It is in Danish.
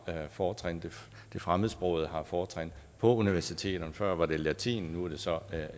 fortrin det fremmedsprogede har fortrin på universiteterne før var det latin nu er det så